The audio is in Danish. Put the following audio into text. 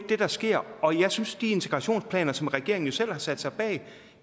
det der sker og jeg synes at de integrationsplaner som regeringen selv har sat sig bag